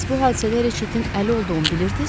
Bəs bu hadisədə Reçetin əli olduğunu bilirdiniz?